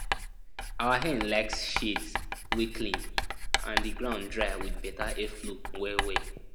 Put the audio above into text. our hen like shades wey clean and the ground dry with beta airflow well well